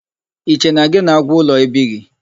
I che na gị na agwu ụlọ ebighị?